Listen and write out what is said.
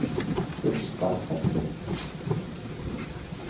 Burstarfelli